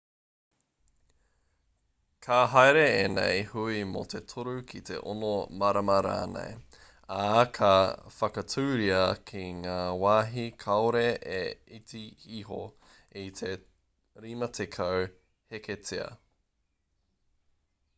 ka haere ēnei hui mō te toru ki te ono marama rānei ā ka whakatūria ki ngā wāhi kāore e iti iho i te 50 heketea